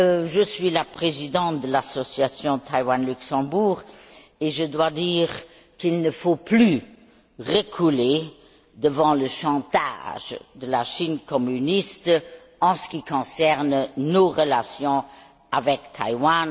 Je suis la présidente de l'association Taïwan Luxembourg et je dois dire qu'il ne faut plus reculer devant le chantage de la Chine communiste en ce qui concerne nos relations avec Taïwan.